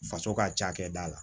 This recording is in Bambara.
Faso ka cakɛda la